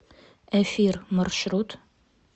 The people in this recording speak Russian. эфир маршрут